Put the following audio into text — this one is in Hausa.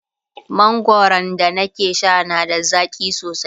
mangwaran da na ke Sha na da zaƙi sosai